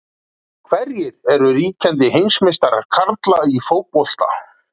Hverjir eru ríkjandi heimsmeistarar karla í fótbolta?